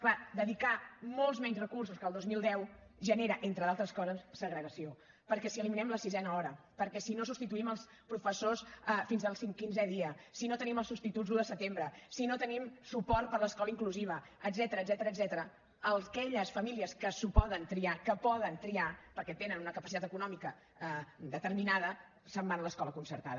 clar dedicar molts menys recursos que el dos mil deu genera entre d’altres coses segregació perquè si eliminem la sisena hora perquè si no substituïm els professors fins al quinzè dia si no tenim els substituts l’un de setembre si no tenim suport per a l’escola inclusiva etcètera aquelles famílies que ho poden triar que poden triar perquè tenen una capacitat econòmica determinada se’n van a l’escola concertada